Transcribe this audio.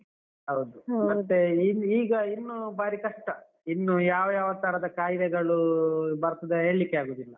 ಹೌದು. ಮತ್ತೆ ಈಗ ಇನ್ನು ಬಾರಿ ಕಷ್ಟ. ಇನ್ನು ಯಾವ ಯಾವ ತರದ ಕಾಯಿಲೆಗಳು ಬರ್ತದೆ ಹೇಳ್ಲಿಕ್ಕೆ ಆಗುದಿಲ್ಲ.